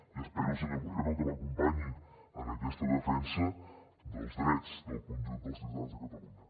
i espero senyor moreno que m’acompanyi en aquesta defensa dels drets del conjunt dels ciutadans de catalunya